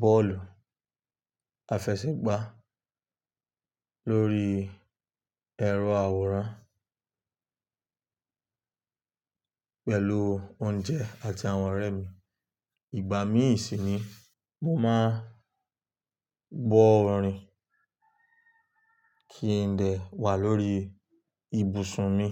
bọ́ọ̀lù àfẹsẹ̀gbá lórí ẹ̀rọ àwòrán pẹ̀lú oúnjẹ àti àwọn ọ̀rẹ́ mi. Ìgbà mí sí ni mo máa ń gbọ orìn kí ń dè wà lórí ibùsùn mi.